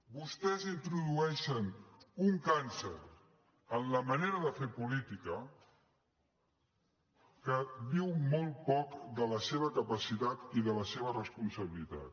vostès introdueixen un càncer en la manera de fer política que diu molt poc de la seva capacitat i de la seva responsabilitat